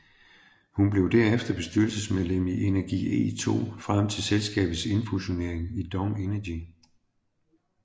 Hun blev derefter bestyrelsesmedlem i Energi E2 frem til selskabets indfusionering i DONG Energy